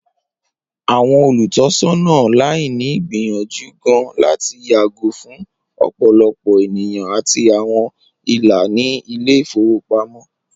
Awọn olutọsọna laini n gbiyanju gaan lati yago fun ọpọlọpọ eniyan ati awọn ila ni ile-ifowopamọ.